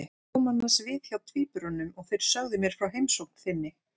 Ég kom annars við hjá tvíburunum og þeir sögðu mér frá heimsókn þinni.